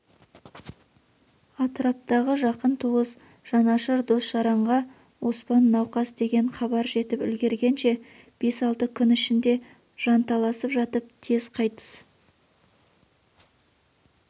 атыраптағы жақын туыс жанашыр дос-жаранға оспан науқас деген хабар жетіп үлгергенше бес-алты күн ішінде жанталасып жатып тез қайтыс